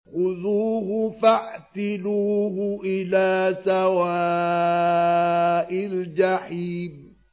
خُذُوهُ فَاعْتِلُوهُ إِلَىٰ سَوَاءِ الْجَحِيمِ